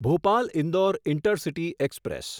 Bhopal Indore intercity express